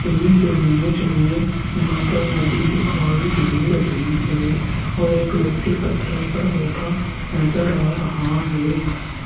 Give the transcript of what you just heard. इस इमेज में यहां पर नदी दिखाई दे रही है और एक व्यक्ति पत्थर पर बैठा नजर आ रहा है।